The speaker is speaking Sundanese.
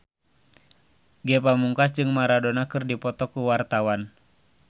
Ge Pamungkas jeung Maradona keur dipoto ku wartawan